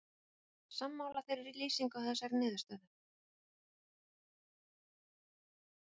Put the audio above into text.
Ertu sammála þeirri lýsingu á þessari niðurstöðu?